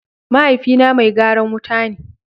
Mahaifi na mai garan wuta ne.